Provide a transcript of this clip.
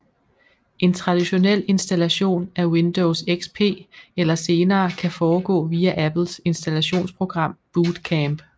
En traditionel installation af Windows XP eller senere kan foregå via Apples installationsprogram Boot Camp